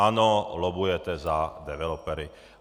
Ano, lobbujete za developery.